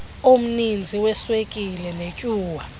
omninzi weswekile netyuwa